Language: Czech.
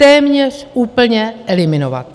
Téměř úplně eliminovat.